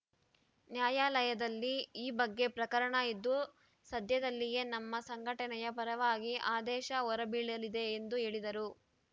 ನ್ಯಾಯಾಲಯದಲ್ಲಿ ಈ ಬಗ್ಗೆ ಪ್ರಕರಣ ಇದ್ದು ಸದ್ಯದಲ್ಲಿಯೇ ನಮ್ಮ ಸಂಘಟನೆಯ ಪರವಾಗಿ ಆದೇಶ ಹೊರಬೀಳಲಿದೆ ಎಂದು ಹೇಳಿದರು